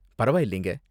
பரவாயில்லைங்க